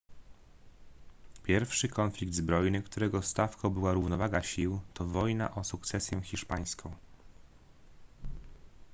pierwszy konflikt zbrojny którego stawką była równowaga sił to wojna o sukcesję hiszpańską